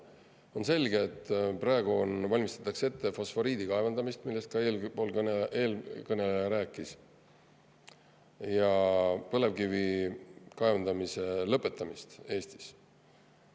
On selge, et praegu valmistatakse ette fosforiidi kaevandamist, millest ka eelkõneleja rääkis, ja põlevkivi kaevandamise lõpetamist Eestis.